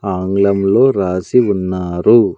ఆంగ్లం లో రాసి ఉన్నారు.